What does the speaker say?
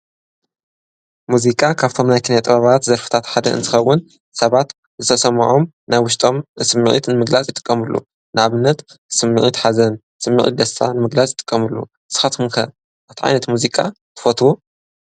ሙዚቃ ካብቶም ናይ ኪነ ጥበባት ዘርፍታት ሓደ እንትከውን ሰባት ዝተሰምዖም ናይ ውሽጦም ስሚዕት ንምግላፅ ይጥቀምሉ። ንኣብነት ስሚዕት ሓዘን ፣ስሚዕት ደስታ ንምግላፅ ይጥቀምሉ። ንስካትኩም ከ እንታይ ኣይነት ሙዚቃ ትፈትዉ?